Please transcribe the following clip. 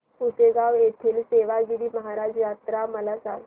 पुसेगांव येथील सेवागीरी महाराज यात्रा मला सांग